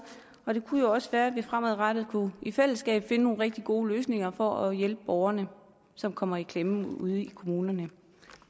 og det kunne jo også være at vi fremadrettet i fællesskab kunne finde nogle rigtig gode løsninger for at hjælpe borgerne som kommer i klemme ude i kommunerne